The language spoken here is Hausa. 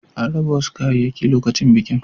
An raba wasu kayayyaki lokacin bikin.